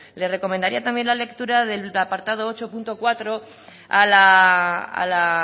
le recomendaría también la lectura del apartado ocho punto cuatro a la